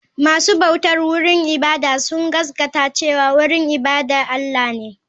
Masu bautar wurin ibada sun gaskata cewa wurin ibada Allah ne.